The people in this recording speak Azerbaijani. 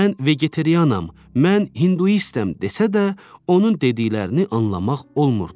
Mən vegetarianam, mən hinduistəm desə də, onun dediklərini anlamaq olmurdu.